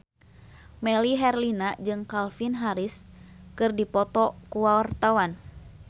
Melly Herlina jeung Calvin Harris keur dipoto ku wartawan